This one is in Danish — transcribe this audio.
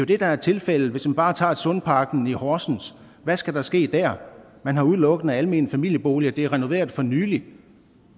det der er tilfældet hvis man bare tager sundparken i horsens hvad skal der ske der man har udelukkende almene familieboliger og det er renoveret for nylig